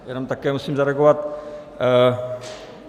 Jenom také musí zareagovat.